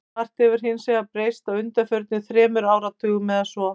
Margt hefur hins vegar breyst á undanförnum þremur áratugum eða svo.